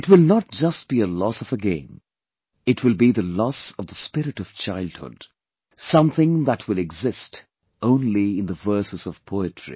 It will not just be a loss of a game; it will be the loss of the spirit of childhood, something that will exist only in the verses of poetry